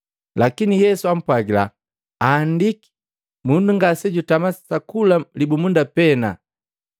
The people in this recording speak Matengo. Lakini Yesu ampwagila, “Aandiki, ‘Mundu ngasejutama sa kula libumunda pena.’ ”